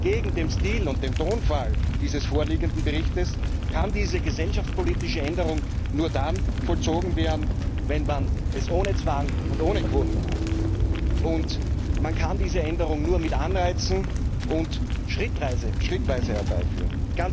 Entgegen dem Stil und dem Tonfall dieses vorliegenden Berichts kann diese gesellschaftspolitische Änderung nur dann vollzogen werden, wenn man es ohne Zwang und ohne Quoten macht. Man kann diese Änderung nur mit Anreizen und schrittweise herbeiführen.